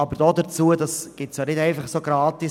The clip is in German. Aber dies gibt es nicht umsonst.